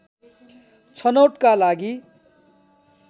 छनौटका लागि